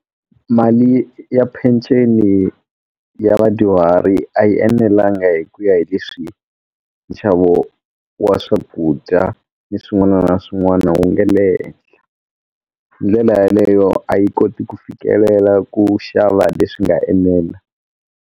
Mali ya peceni ya vadyuhari a yi enelanga hi ku ya hi leswi nxavo wa wa swakudya ni swin'wana na swin'wana wu nge le henhla ndlela yaleyo a yi koti ku fikelela ku xava leswi nga enela.